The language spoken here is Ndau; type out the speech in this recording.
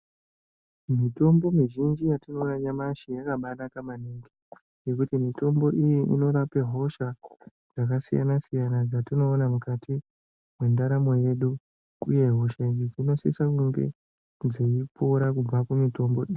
Mitombo mizhinji yatinoona nyamashi yakabanaka maningi ngekuti mitombo iyi inorape hosha dzakasiyana siyana dzatinoona mukati mwendaramo yedu uye hosha idzi dzinosisa kunge dzeipora kubva kumitombo iyi.